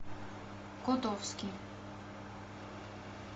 котовский